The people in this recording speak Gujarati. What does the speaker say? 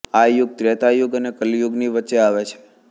આ યુગ ત્રેતાયુગ અને કલિયુગની વચ્ચે આવે છે